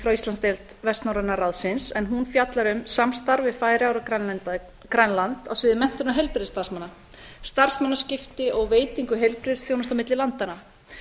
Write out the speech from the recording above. frá íslandsdeild vestnorræna ráðsins en hún fjallar um samstarf við færeyjar og grænland á sviði menntunar heilbrigðisstarfsmanna starfsmannaskipta og veitingu heilbrigðisþjónustu á milli landanna